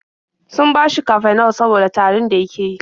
Sun bashi Cafenol saboda tarin da yake yi.